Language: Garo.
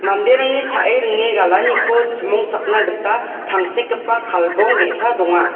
manderangni cha·e ringe galaniko chimongchakna gita tangsekgipa kalbong ge·sa donga.